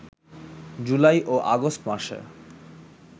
জুলাই ও আগস্ট মাসে